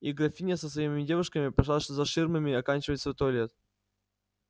и графиня со своими девушками пошла за ширмами оканчивать свой туалет